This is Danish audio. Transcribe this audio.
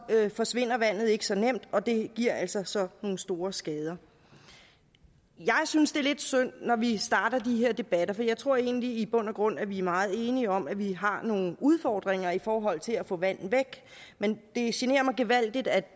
forsvinder vandet ikke så nemt og det giver altså så nogle store skader jeg synes det er lidt synd at vi starter de her debatter for jeg tror egentlig i bund og grund at vi er meget enige om at vi har nogle udfordringer i forhold til at få vandet væk men det generer mig gevaldigt at